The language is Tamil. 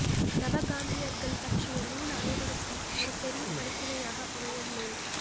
நவகாந்தியர்கள் பற்றிய நூல் அனைவருக்கும் ஒரு பெரிய படிப்பினையாக அமையும் நூல்